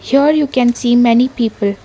here you can see many people.